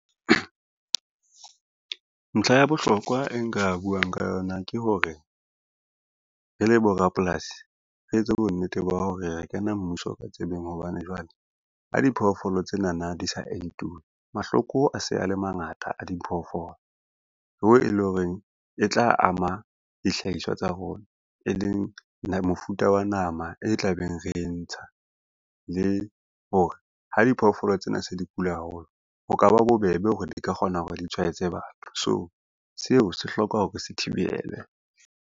Ntlha ya bohlokwa e nka buang ka yona ke hore, re le borapolasi re etse bonnete ba hore re kena mmuso ka tsebeng hobane jwale, ha diphoofolo tsenana di sa entuwe mahloko a se a le mangata a diphoofolo hoo e lo reng e tla ama dihlahiswa tsa rona e leng mofuta wa nama e tlabeng re e ntsha. Le ho re ha diphoofolo tsena se di kula haholo, ho ka ba bobebe hore di ka kgona hore di tshwaetse batho, so seo se hloka hore re se thibelwe.